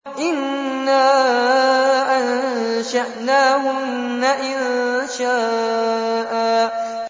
إِنَّا أَنشَأْنَاهُنَّ إِنشَاءً